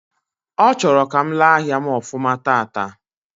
Ọ chọrọ ka m lee ahịa m ofuma taata